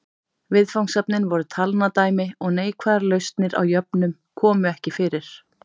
Viðfangsefnin voru talnadæmi og neikvæðar lausnir á jöfnum komu ekki fyrir.